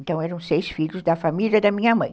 Então, eram seis filhos da família da minha mãe.